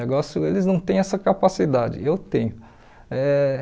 O negócio eles não têm essa capacidade, eu tenho eh.